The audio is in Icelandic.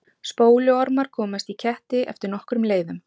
Spóluormar komast í ketti eftir nokkrum leiðum.